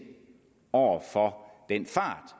over for den fart